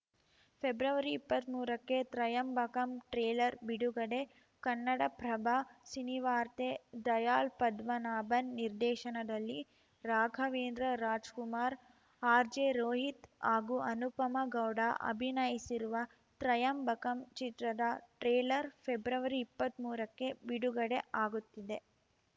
ಫೆಬ್ರವರಿಇಪ್ಪತ್ಮೂರಕ್ಕೆ Trayambakam trailer ಬಿಡುಗಡೆ ಕನ್ನಡಪ್ರಭ ಸಿನಿವಾರ್ತೆ ದಯಾಳ್‌ ಪದ್ಮನಾಭನ್‌ ನಿರ್ದೇಶನದಲ್ಲಿ ರಾಘವೇಂದ್ರ ರಾಜ್‌ಕುಮಾರ್‌ ಆರ್‌ಜೆ ರೋಹಿತ್‌ ಹಾಗೂ ಅನುಪಮಾ ಗೌಡ ಅಭಿನಯಿಸಿರುವ ತ್ರಯಂಬಕಂ ಚಿತ್ರದ ಟ್ರೇಲರ್‌ ಫೆಬ್ರವರಿಇಪ್ಪತ್ಮೂರಕ್ಕೆ ಬಿಡುಗಡೆ ಆಗುತ್ತಿದೆ